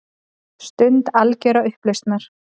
Stund algjörrar upplausnar.